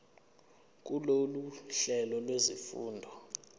kulolu hlelo lwezifundo